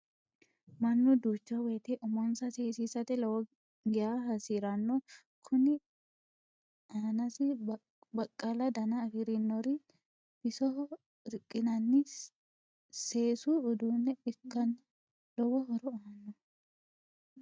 Mannu duucha woyiite umonsa seesisate lowo geya hasiranno. Kuni aanasi baqqala dana afirinori bisoho riqqinanni seesu uduunne ikkanna lowo horo aanno.